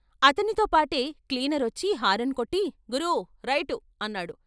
అతనితో పాటే క్లీనరొచ్చి హారన్ కొట్టి " గురూ, రైటు " అన్నాడు.